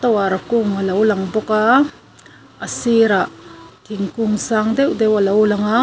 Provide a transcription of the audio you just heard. tower kung a lo lang bawk a a sirah thingkung sang deuh deuh a lo lang a--